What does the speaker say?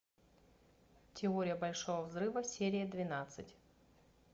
теория большого взрыва серия двенадцать